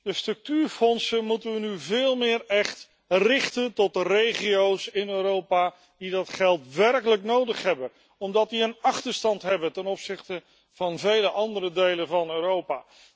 De structuurfondsen moeten we nu veel meer echt richten tot de regio's in Europa die dat geld werkelijk nodig hebben, omdat die een achterstand hebben ten opzichte van vele andere delen van Europa.